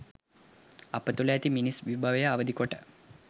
අප තුළ ඇති මිනිස් විභවය අවදි කොට